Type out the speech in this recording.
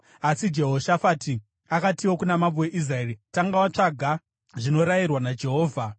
Asi Jehoshafati akatiwo kuna mambo weIsraeri, “Tanga watsvaga zvinorayirwa naJehovha.”